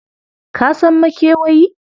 Ka san makewayi?